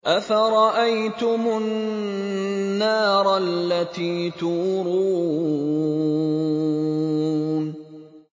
أَفَرَأَيْتُمُ النَّارَ الَّتِي تُورُونَ